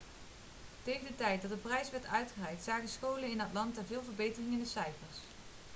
tegen de tijd dat de prijs werd uitgereikt zagen scholen in atlanta veel verbetering in de cijfers